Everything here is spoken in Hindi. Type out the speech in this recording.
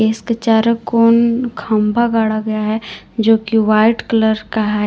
इसके चारों कोन खंभा गाढ़ा गया है जो कि व्हाइट कलर का है।